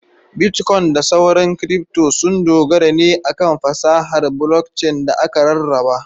Bitkoin da sauran kiripto sun dogara ne akan fasahar blockchain da aka rarraba.